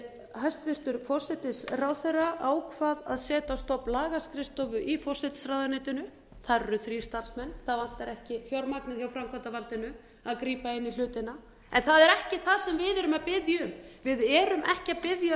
hæstvirtur forsætisráðherra ákvað að setja á stofn lagaskrifstofu í forsætisráðuneytinu þar eru þrír starfsmenn það vantar ekki fjármagnið hjá framkvæmdarvaldinu að grípa in í hlutina en það er ekki það sem við erum að biðja um við